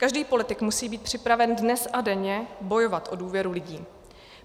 Každý politik musí být připraven dnes a denně bojovat o důvěru lidí.